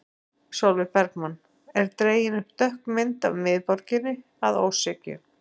Sólveig Bergmann: Er dregin upp dökk mynd af miðborginni að ósekju?